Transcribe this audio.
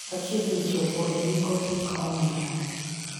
wachiegni chopo e giko hik omenda